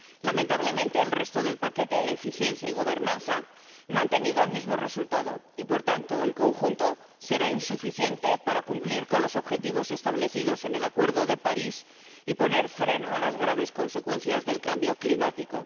Lamentablemente, el resto del paquete —eficiencia y gobernanza— no ha tenido el mismo resultado y, por tanto, el conjunto será insuficiente para cumplir con los objetivos establecidos en el Acuerdo de París y poner freno a las graves consecuencias del cambio climático.